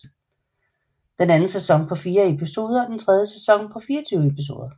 Den anden sæson er på fire episoder og den tredje sæson på 24 episoder